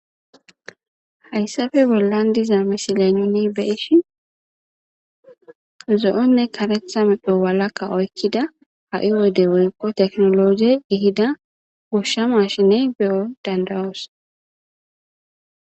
Haysape bolan diza missilen nuni be'ishin zo'one karetha medho walaka oykida ha'i wode woyko tekinoloje ehida gosha mashinne be'o danda'os.